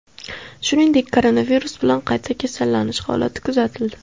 Shuningdek, koronavirus bilan qayta kasallanish holati kuzatildi .